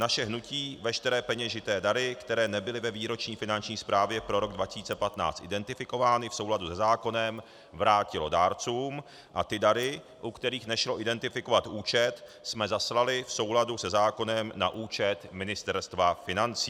Naše hnutí veškeré peněžité dary, které nebyly ve výroční finanční zprávě pro rok 2015 identifikovány, v souladu se zákonem vrátilo dárcům a ty dary, u kterých nešlo identifikovat účet, jsme zaslali v souladu se zákonem na účet Ministerstva financí.